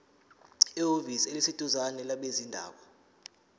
ehhovisi eliseduzane labezindaba